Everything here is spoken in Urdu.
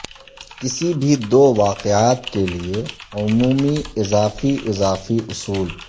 کسی بھی دو واقعات کیلئے عمومی اضافی اضافی اصول